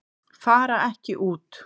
Fara ekki út